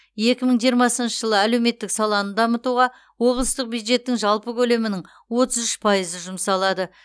екі мың жиырмасыншы жылы әлеуметтік саланы дамытуға облыстық бюджеттің жалпы көлемінің отыз үш пайызы жұмсалады